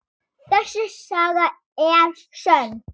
Þessi saga er sönn.